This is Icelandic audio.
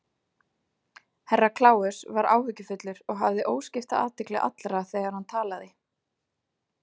Herra Kláus var áhyggjufullur og hafði óskipta athygli allra þegar hann talaði.